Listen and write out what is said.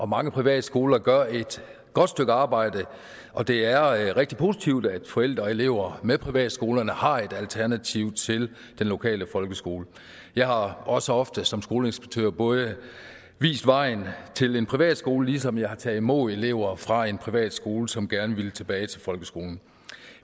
mange privatskoler gør et godt stykke arbejde og det er rigtig positivt at forældre og elever med privatskolerne har et alternativ til den lokale folkeskole jeg har også ofte som skoleinspektør både vist vejen til en privatskole ligesom jeg har taget imod elever fra en privatskole som gerne ville tilbage til folkeskolen